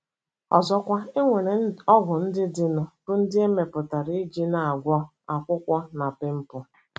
Ọzọkwa, e nwere ọgwụ ndị dịnụ bụ́ ndị e mepụtara iji na - agwọ akpụkpọ na pịmpụl.